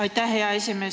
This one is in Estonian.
Aitäh, hea esimees!